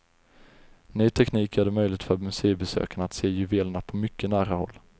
Ny teknik gör det möjligt för museibesökarna att se juvelerna på mycket nära håll.